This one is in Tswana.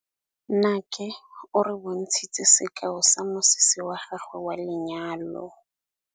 Nnake o re bontshitse sekaô sa mosese wa gagwe wa lenyalo.